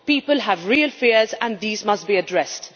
People have real fears and these must be addressed.